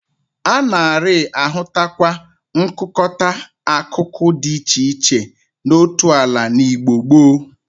A nari-ahụtakwa nkụkọta akụkụ di iche iche n'otu ala n'Igbo gboo.